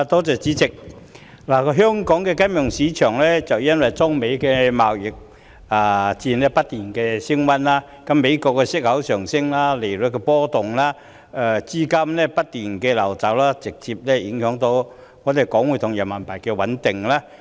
主席，香港的金融市場因中美貿易戰不斷升溫，美國息口上升、利率波動、資金不斷流走，直接影響港元匯價及人民幣的穩定。